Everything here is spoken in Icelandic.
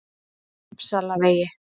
Uppsalavegi